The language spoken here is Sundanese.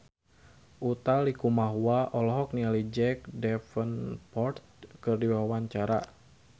Utha Likumahua olohok ningali Jack Davenport keur diwawancara